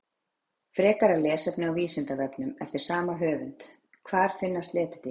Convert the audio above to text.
Frekara lesefni á Vísindavefnum eftir sama höfund: Hvar finnast letidýr?